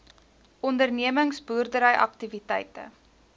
ondernemings boerdery aktiwiteite